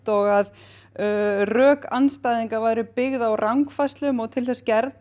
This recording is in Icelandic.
og rök andstæðinga væru byggð á rangfærslum og til þess gerð